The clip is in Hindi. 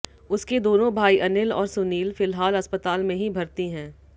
उसके दोनों भाई अनिल और सुनील फ़िलहाल अस्पताल में ही भर्ती हैं